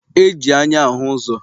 E ji anya ahụ ụzọ.